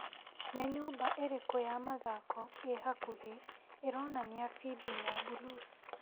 Nĩ nyũmba ĩrĩkũ ya mathako ĩ hakuhĩ ĩronania bindiũ ya Buluce ?